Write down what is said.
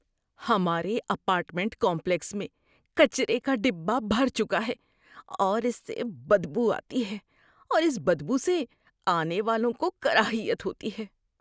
ہمارے apartment complex میں کچرے کا ڈبہ بھر چکا ہے اور اس سے بدبو آتی ہے اور اس بدبو سے آنے والوں کو کراہیت ہوتی ہے۔